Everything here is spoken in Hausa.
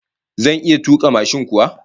Zan iya tuka mashin kuwa?